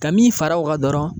Ka min fara o kan dɔrɔn